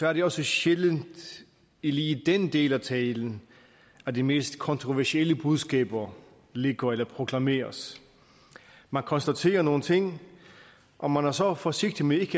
er det også sjældent lige i den del af talen at de mest kontroversielle budskaber ligger eller proklameres man konstaterer nogle ting og man er så forsigtig med ikke